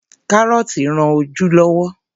Kárọ́tí rán ojú lọ́wọ́.